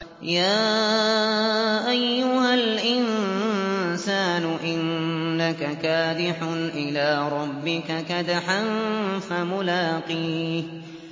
يَا أَيُّهَا الْإِنسَانُ إِنَّكَ كَادِحٌ إِلَىٰ رَبِّكَ كَدْحًا فَمُلَاقِيهِ